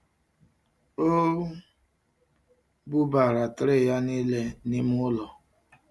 O bubara tray ya niile n'ime ụlọ